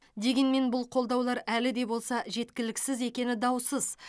дегенмен бұл қолдаулар әлі де болса жеткіліксіз екені даусыз